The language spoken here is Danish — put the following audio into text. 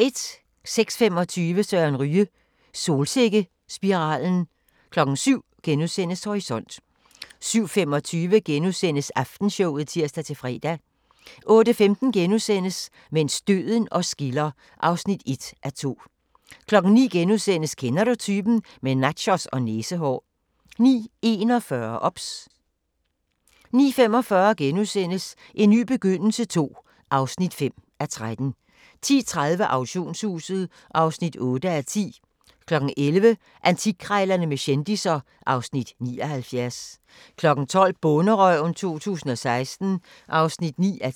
06:25: Søren Ryge – Solsikkespiralen 07:00: Horisont * 07:25: Aftenshowet *(tir-fre) 08:15: Mens døden os skiller (1:2)* 09:00: Kender du typen? – Med nachos og næsehår * 09:41: OBS 09:45: En ny begyndelse II (5:13)* 10:30: Auktionshuset (8:10) 11:00: Antikkrejlerne med kendisser (Afs. 79) 12:00: Bonderøven 2016 (9:10)